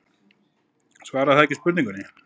Svarar það ekki spurningunni?